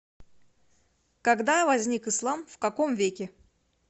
когда возник ислам в каком веке